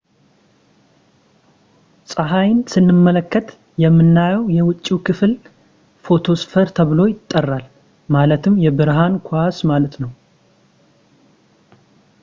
ፀሐይን ስንመለከት የምናየው የውጭው ክፍል ፎቶስፌር ተብሎ ይጠራል ፣ ማለትም የብርሃን ኳስ” ማለት ነው